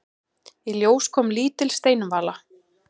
Í ljós kom lítil steinvala.